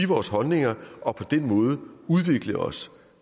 vores holdninger og på den måde udvikle os